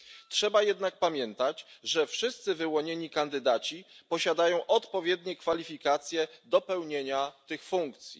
Trzeba jednak pamiętać, że wszyscy wyłonieni kandydaci posiadają odpowiednie kwalifikacje do pełnienia tych funkcji.